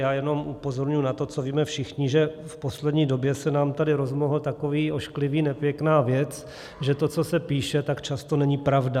Já jenom upozorňuji na to, co víme všichni, že v poslední době se nám tady rozmohl takový ošklivý, nepěkná věc, že to, co se píše, tak často není pravda.